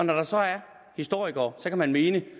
der så er historikere og så kan man mene